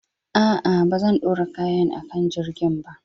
A'a, ba zan ɗora kayan a kan jirgin ba.